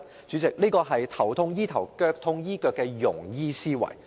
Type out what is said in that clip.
主席，這是"頭痛醫頭，腳痛醫腳"的庸醫思維。